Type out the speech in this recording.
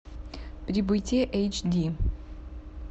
прибытие эйч ди